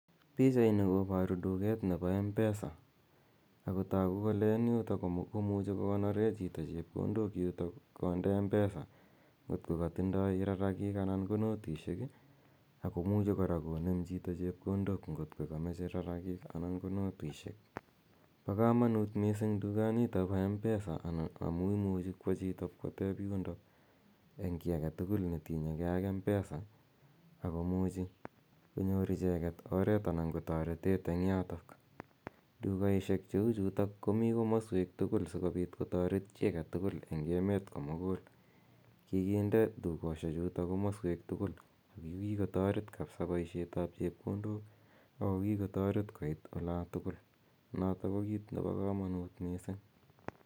Pichaini koboru duket nebo M-pesa, ako toku kole eng yutok komuchi kokonore chito chepkondok yutok konde M-pesa ngot ko katindoi rarakik anan ko notisiek ii ako muchi kora konem chito chepkondok ngot ko kamache rarakik anan ko notisiek, bo kamanut mising dukanito bo M-pesa amu imuchi kwo chito pkoteb yundo, eng kiy ake tugul ne tinyekei ak M-pesa ako muchi konyor icheket oret anan ko toretet eng yotok. Dukaisiek cheu chutok komi komoswek tugul sikobit kotoret chi ake tugul eng emet komugul, kikinde dukosie chuto komoswek tugul ako kikotoret kabisa boisietab chepkondok ako kikotoret koit ola tugul noto ko kiit nebo kamanut mising.